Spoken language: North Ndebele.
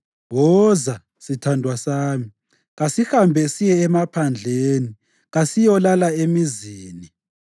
Woza, sithandwa sami, kasihambe siye emaphandleni, kasiyolala emizini.